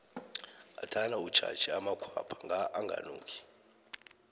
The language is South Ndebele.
ngathana utjhatjhe amakhwapha nga akanuki